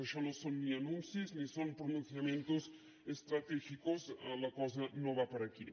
això no són ni anuncis ni són pronunciamientos estratégicos la cosa no va per aquí